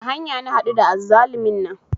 A hanya na haɗu da azzalumin nan